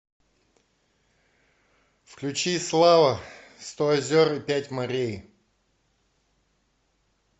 включи слава сто озер и пять морей